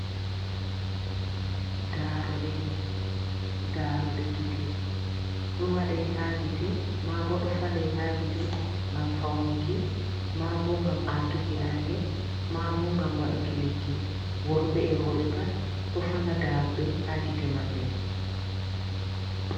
Daroɗe, daroɗe gite ɗo waɗe ha gite ma bo ɗo falei ha gite ngam faunuki, ma bo ngam atuki nange, ma bo ngam waɗuki lekki. worɓe e'roɓe pat ɗo fala daruɗe ha gite maɓɓe.